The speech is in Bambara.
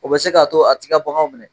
O bɛ se k'a to a ti ka baganw minɛ.